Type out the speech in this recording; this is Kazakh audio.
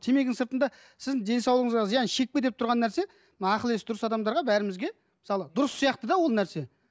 темекінің сыртында сіздің денсаулығыңызға зиян шекпе деп тұрған нәрсе мына ақыл есі дұрыс адамдарға бәрімізге мысалы дұрыс сияқты да ол нәрсе